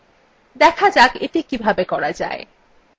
দেখা যাক এটি কিভাবে করা যায়